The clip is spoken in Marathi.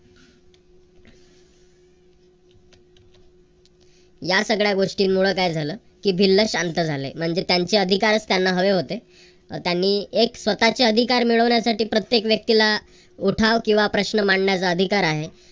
या सगळ्या गोष्टींमूळ काय झालं की भिल्ल शांत झाले. म्हणजे त्यांचे अधिकार त्यांना हवे होते. त्यांनी एक स्वतःचे अधिकार मिळविण्यासाठी प्रत्येक व्यक्तीला उठाव किंवा प्रश्न मांडण्याचा अधिकार आहे